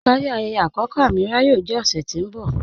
Ipari ayẹyẹ akọkọ Amīràh yóò jẹ ọṣẹ̀ tí n bọ̀.